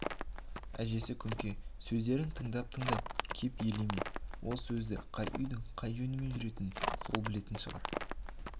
әжесі күнке сөздерін тыңдап-тыңдап кеп елеме ол сөзді қай үйдің қай жөнмен жүретінін сол білетін шығар